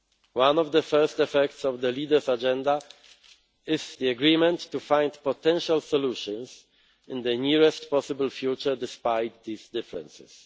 One of the first effects of the Leaders' Agenda is the agreement to find potential solutions in the nearest possible future, despite these differences.